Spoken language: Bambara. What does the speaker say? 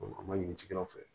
a ma ɲini cikɛlaw fɛ